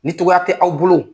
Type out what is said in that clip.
Ni cogoya tɛ aw bolo